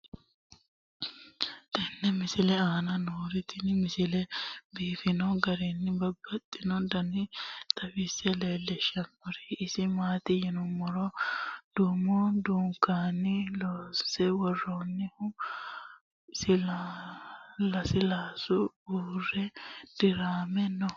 tenne misile aana noorina tini misile biiffanno garinni babaxxinno daniinni xawisse leelishanori isi maati yinummoro danu danunkunni loonsse woroonnihu lasiilaasu uure diramme noo